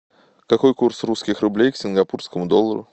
какой курс русских рублей к сингапурскому доллару